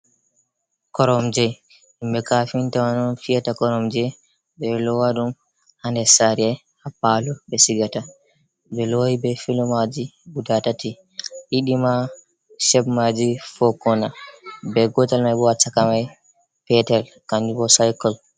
Koromje himɓe kafinta man on fiyata koromje ɓe ɗo lowa ɗum ha nder sare ha palo ɓe sigata, ɓe lowi be filo maji guda tati ɗiɗi ma chep maji fo'kona be gotal mai bo ha chaka mai petel kanjum bo cycle.